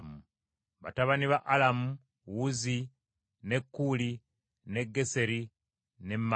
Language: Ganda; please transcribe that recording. Batabani ba Alamu: Uzi, ne Kuuli, ne Ggeseri ne Masi.